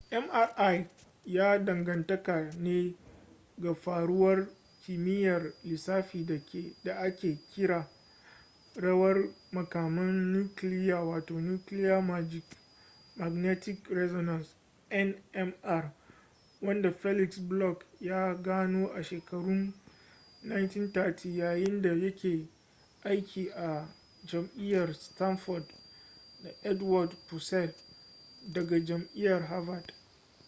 mri ya danganta ne ga faruwar kimiyyar lissafi da ake kira rawar makaman nukiliya wato nuclear magnetic resonance nmr wanda felix bloch ya gano a shekarun 1930 yayin da ya ke aiki a jami’ar stanford da edward purcell daga jami’ar harvard